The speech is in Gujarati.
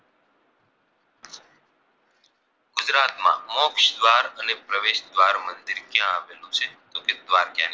ગુજરાતમાં મોક્ષ દ્વાર અને પ્રવેશ દ્વાર મંદિર ક્યાં આવેલું છે તો કે દ્વારકા